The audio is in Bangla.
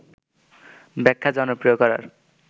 ব্যাখ্যা জনপ্রিয় করার